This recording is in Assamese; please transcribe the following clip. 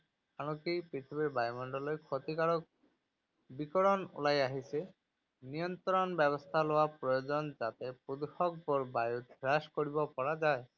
আনকি পৃথিৱীৰ বায়ুমণ্ডললৈ ক্ষতিকাৰক বিকিৰণ ওলাই আহিছে। নিয়ন্ত্ৰণ ব্যৱস্থা লোৱা প্ৰয়োজন যাতে প্ৰদূষকবোৰ বায়ুত হ্ৰাস কৰিব পৰা যায়।